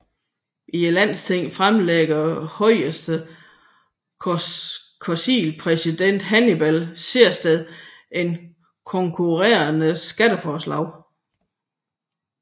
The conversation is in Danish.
I Landstinget fremlægger Højres konseilspræsident Hannibal Sehested et konkurrerende skatteforslag